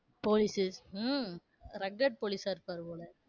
police உ um rugged police ஆ இருப்பாரு போல?